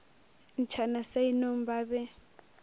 ntšhana sa inong ba be